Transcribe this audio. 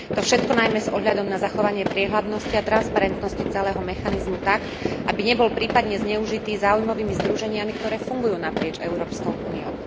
To všetko najmä s ohľadom na zachovanie priehľadnosti a transparentnosti celého mechanizmu tak, aby nebol prípadne zneužitý záujmovými združeniami, ktoré fungujú naprieč Európskej úniou.